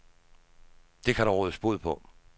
Det kan der rådes bod på.